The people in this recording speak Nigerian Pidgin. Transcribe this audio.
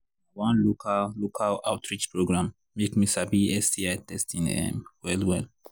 na one local local outreach program make me sabi sti testing um well well